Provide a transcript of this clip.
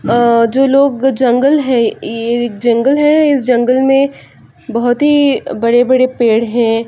आ जो लोग जंगल है ये जंगल है इस जंगल मे बहुत ही बड़े-बड़े पेड़ है।